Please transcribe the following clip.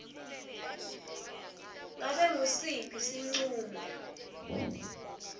ngabe ngusiphi sincumo